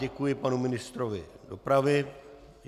Děkuji panu ministrovi dopravy...